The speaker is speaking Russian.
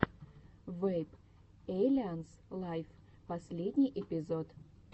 вэйп эйлианс лайв последний эпизод